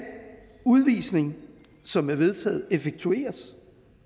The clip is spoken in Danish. udvisning som er vedtaget effektueres